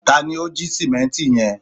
ta ni o ji simẹnti yẹn